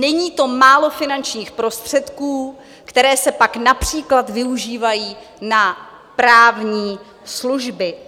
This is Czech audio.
Není to málo finančních prostředků, které se pak například využívají na právní služby.